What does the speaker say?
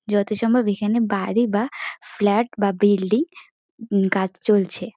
যত সম্ভব এখানে বাড়ি বা ফ্ল্যাট বা বিল্ডিং উম কাজ চলছে।